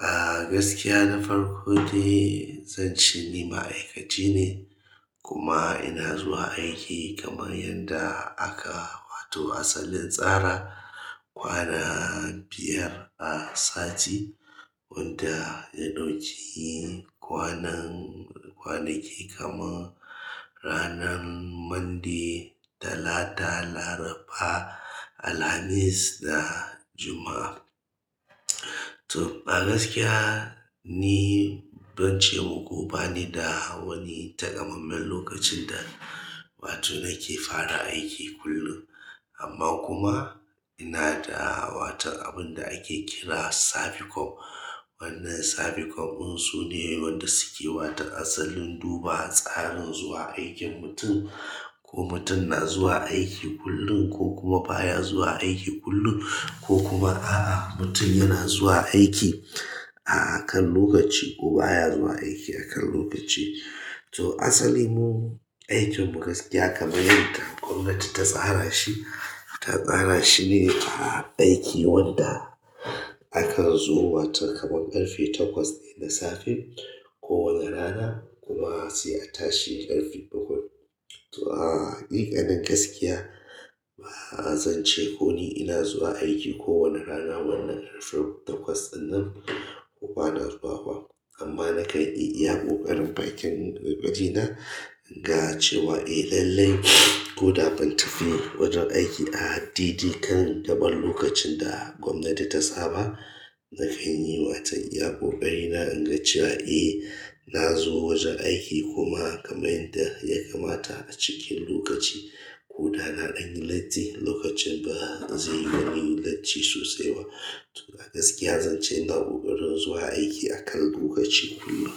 a gaskiya na farko dai zan ce ni ma'aikaci ne kuma ina zuwa aiki kamar yanda aka wato asalin tsara, kwana biyar a sati wanda ya ɗauki kwanan kwanaki kamar ranar Monday, Talata, Laraba, Alhamis da Juma'a. To a gaskiya ni ban ce muku ba ni da wani takamaiman lokacin da wato nake fara aiki kullun. Amma kuma ina da watan abun da ake kira saficom. Wannan saficom unsu ne wanda suke wata asalin duba tsarin zuwa aikin mutum, ko mutum na zuwa aiki kullun ko kuma baya zuwa aiki kullun ko kuma a'a mutum yana zuwa aiki a kan lokaci ko baya zuwa aiki akan lokaci. To asali mu aikinmu gaskiya kaman yanda gwamnati ta tsarashi ta tsarashine a aiki wanda akanzo wato kamar ƙarfe takwas na safe kuma da rana kuma sai a atashi a ƙarfe bakwai to a haƙiƙanin gaskiya ba zan ce ko ni ina zuwa aiki kowane rana wannan ƙarfe takwas ɗinnan ko bana zuwa ba. Amma na kan e iya ƙoƙarin bakin wajena. Yace ma eh lallle koda ban tafi wajen aiki a dai-dai kan gabar lokacin da gwamnati ta saba zanfi yi mata iya ƙoƙarina inga cewa eh nazo wajen aiki kuma kamar yanda ya kamata acikin lokaci ko da na danyi latti lokacin ba zai yi na yi latti sosai ba. To a gaskiya zan ce ina koƙarin zuwa aiki akan lokaci kullun.